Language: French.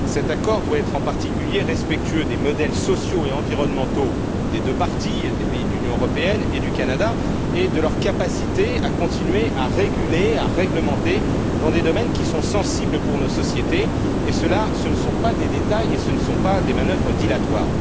Cet accord doit être en particulier respectueux des modèles sociaux et environnementaux des deux parties, des pays de l'Union européenne et du Canada, et de leur capacité à continuer à réguler, à réglementer dans des domaines qui sont sensibles pour nos sociétés et cela, ce ne sont pas des détails et ce ne sont pas des manœuvres dilatoires.